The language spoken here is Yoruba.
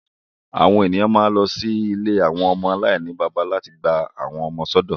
Awọn eniyan ma n lọ si ìlé awọn ọmọ alainibaba lati gba awọn ọmọ sọdọ